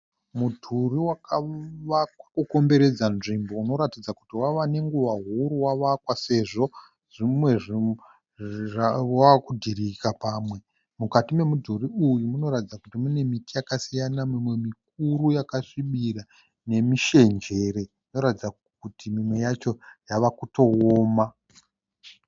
Mudhuri wakavakwa kukomberedza nzvimbo unoratidza kuti wava nenguva huru wavakwa sezvo wava kudhirika pamwe. Mukati memudhuri uyu munoratidza miti yakasiyana mimwe mikuru yakasvibira nemishenjere inoratidza kuti imwe yacho yava kutooma.